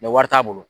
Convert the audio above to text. wari t'a bolo